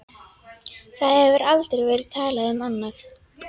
Það hefur aldrei verið talað um annað!